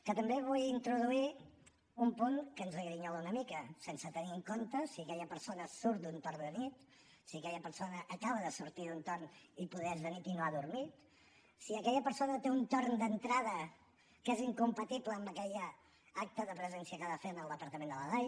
que també vull introduir un punt que ens grinyola una mica sense tenir en compte si aquella persona surt d’un torn de nit si aquella persona acaba de sortir d’un torn i poder és de nit i no ha dormit si aquella persona té un torn d’entrada que és incompatible amb aquell acte de presència que ha de fer en el departament de la dai